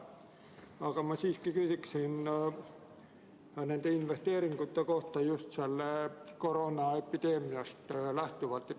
Aga ma siiski küsin investeeringute kohta just koroonaepideemiast lähtuvalt.